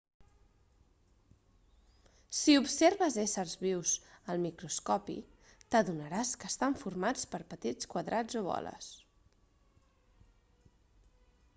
si observes éssers vius al microscopi t'adonaràs que estan formats per petits quadrats o boles